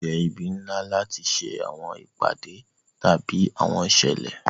Awọn ile itura le jẹ ibi nla lati ṣe awọn ipade tabi awọn iṣẹlẹ.